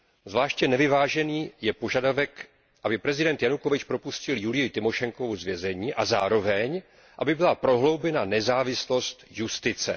Zvláště nevyvážený je požadavek, aby prezident Janukovič propustil Julii Tymošenkovou z vězení a zároveň aby byla prohloubena nezávislost justice.